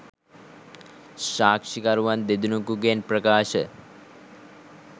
සාක්ෂිකරුවන් දෙනකුගෙන් ප්‍රකාශ